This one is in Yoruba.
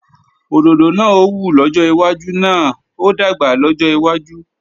Òdòdó náà ó wù lọ́jọ́ iwájú náà ó dàgbà lọ́jọ́ iwájú